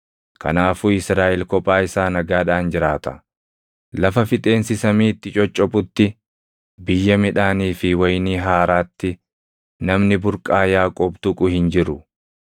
Kanaafuu Israaʼel kophaa isaa nagaadhaan jiraata; lafa fixeensi samii itti coccophutti, biyya midhaanii fi wayinii haaraatti namni burqaa Yaaqoob tuqu hin jiru.